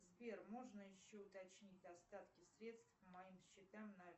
сбер можно еще уточнить остатки средств по моим счетам на